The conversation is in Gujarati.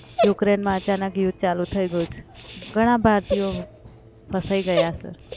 યુક્રેનમાં અચાનક યુદ્ધ ચાલુ થઈ ગયું છે. ઘણા ભારતીયો ફસાઈ ગયા છે.